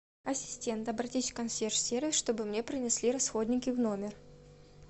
ассистент обратись в консьерж сервис чтобы мне принесли расходники в номер